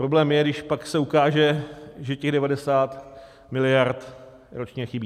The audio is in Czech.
Problém je, když pak se ukáže, že těch 90 mld. ročně chybí.